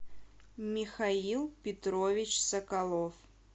михаил петрович соколов